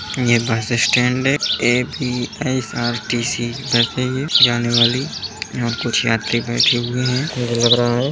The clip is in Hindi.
ये बस स्टेंड है एक E A P S R T C bus है ये जाने वाली और कुछ यात्री बेठे हुए हैं मुझे लग रहा है।